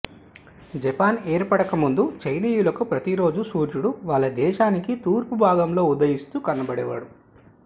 Japan ఏర్పడక ముందు చైనీయులకి ప్రతిరోజూ సూర్యుడు వాళ్ల దేశానికి తూర్పు భాగంలో ఉదయిస్తూ కనబడేవాడు